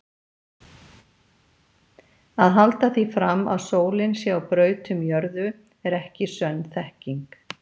Að halda því fram að sólin sé á braut um jörðu er ekki sönn þekking.